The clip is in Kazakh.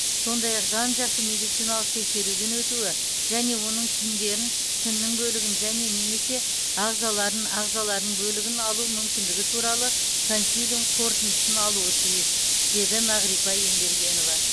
сондай ақ жан жақты медициналық тексеруден өтуі және оның тіндерін тіннің бөлігін және немесе ағзаларын ағзаларының бөлігін алу мүмкіндігі туралы консилиум қорытындысын алуы тиіс деді мағрипа ембергенова